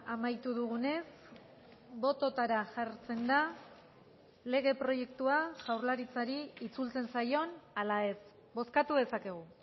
amaitu dugunez bototara jartzen da lege proiektua jaurlaritzari itzultzen zaion ala ez bozkatu dezakegu